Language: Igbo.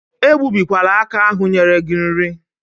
Egbubikwala aka ahụ nyere gị nri.